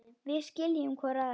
Við skiljum hvor aðra.